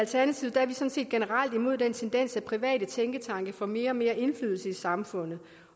sådan set er generelt imod den tendens at private tænketanke får mere og mere indflydelse i samfundet